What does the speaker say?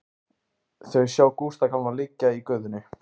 Þau sjá Gústa gamla liggja í götunni.